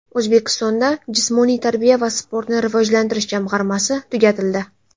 O‘zbekistonda Jismoniy tarbiya va sportni rivojlantirish jamg‘armasi tugatildi.